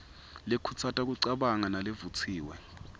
lekhutsata kucabanga nalevutsiwe